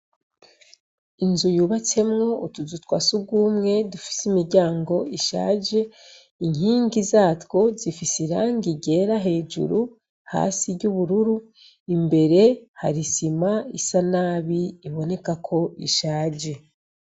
Inzu yubatsemwo utuzu twa surwumwe dufise imiryango ishaje, inkingi zatwo zifise irangi ryera hejuru, hasi iry'ubururu, imbere hari isima isa nabi iboneka ko ishaje.